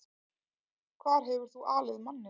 Hvar hefur þú alið manninn?